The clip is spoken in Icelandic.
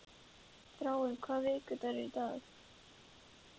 Þráinn, hvaða vikudagur er í dag?